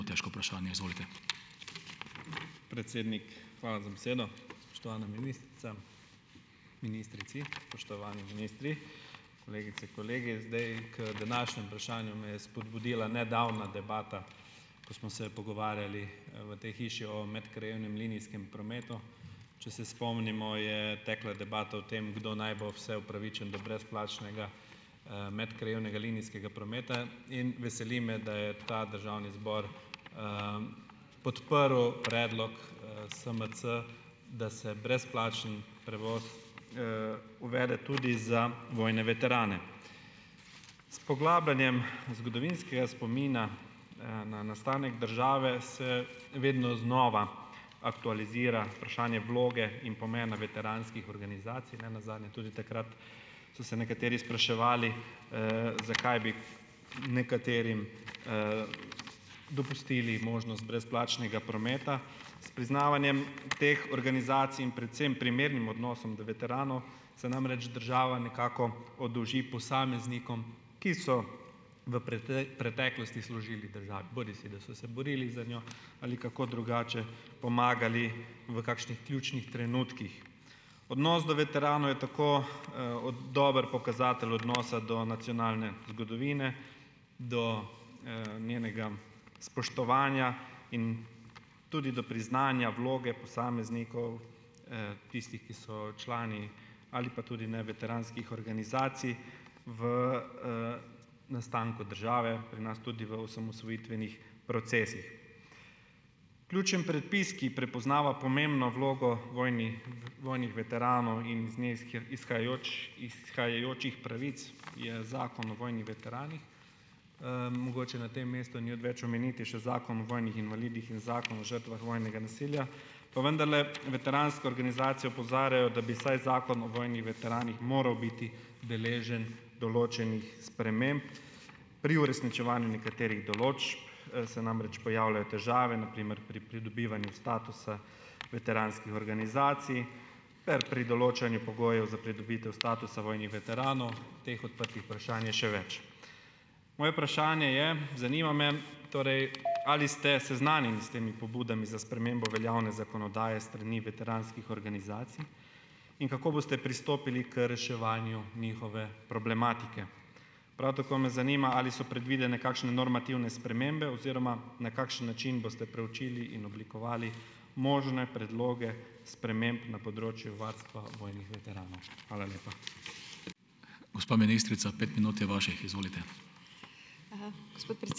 ... težko vprašanje, izvolite. Predsednik, hvala za besedo. Spoštovana ministrica, ministrici , spoštovani ministri. Kolegice in kolegi. Zdaj, k današnjemu vprašanju me je spodbudila nedavna debata, ko smo se pogovarjali, v tej hiši o medkrajevnem linijskem prometu. Če se spomnimo, je tekla debata o tem, kdo naj bo vse upravičen do brezplačnega, medkrajevnega linijskega prometa, in veseli me, da je ta državni zbor, podprl predlog, SMC , da se brezplačni prevoz, uvede tudi za vojne veterane. S poglabljanjem, zgodovinskega spomina na nastanek države se vedno znova aktualizira vprašanje vloge in pomena veteranskih organizacij, nenazadnje tudi takrat so se nekateri spraševali, zakaj bi nekaterim, dopustili možnost brezplačnega prometa, s priznavanjem teh organizacij in predvsem primernim odnosom do veteranov se namreč država nekako oddolži posameznikom, ki so v preteklosti služili državi, bodisi da so se borili za njo ali kako drugače pomagali v kakšnih ključnih trenutkih. Odnos do veteranov je tako, ot dober pokazatelj odnosa do nacionalne zgodovine do, njenega spoštovanja in tudi do priznanja vloge posameznikov, tistih, ki so člani ali pa tudi ne, veteranskih organizacij v, nastanku države, pri nas tudi v osamosvojitvenih procesih. Ključen predpis, ki prepoznava pomembno vlogo vojnih veteranov in z ne izhajajočih pravic, je Zakon o vojnih veteranih. mogoče na tem mestu ni odveč omeniti še Zakon o vojnih invalidih in Zakon o žrtvah vojnega nasilja. Pa vendarle, veteranske organizacije opozarjajo, da bi vsaj Zakon o vojnih veteranih moral biti deležen določenih sprememb, pri uresničevanju nekaterih določb se namreč pojavljajo težave, na primer pri pridobivanju statusa veteranskih organizacij ter pri določanju pogojev za pridobitev statusa vojnih veteranov . Teh odprtih vprašanj je še več. Moje vprašanje je, zanima me torej, ali ste seznanjeni s temi pobudami za spremembo veljavne zakonodaje strani veteranskih organizacij in kako boste pristopili k reševanju njihove problematike. Prav tako me zanima, ali so predvidene kakšne normativne spremembe oziroma na kakšen način boste preučili in oblikovali možne predloge sprememb na področju varstva vojnih veteranov. Hvala lepa. Gospa ministrica, pet minut je vaših, izvolite. Hvala. Gospod ...